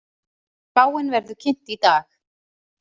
Spáin verður kynnt í dag